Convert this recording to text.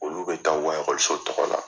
Olu bɛ ta o ka ekɔliso tɔgɔ la.